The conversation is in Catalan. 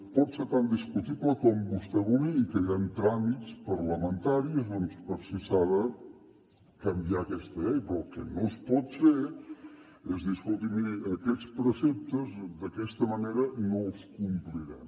pot ser tan discutible com vostè vulgui i que hi han tràmits parlamentaris doncs per si s’ha de canviar aquesta llei però el que no es pot fer és dir escolti miri aquests preceptes d’aquesta manera no els complirem